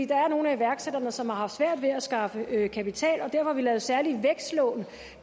der er nogle af iværksætterne som har haft svært ved at skaffe kapital og derfor har vi lavet særlige vækstlån